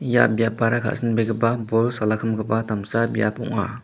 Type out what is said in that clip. ia biapara ka·sinbegipa bol salakimgipa damsa biap ong·a.